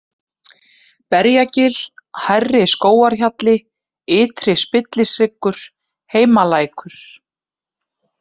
Berjagil, Hærri-Skógarhjalli, Ytri-Spillishryggur, Heimalækur